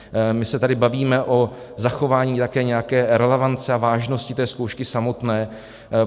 My se tady bavíme o zachování také nějaké relevance a vážnosti té zkoušky samotné.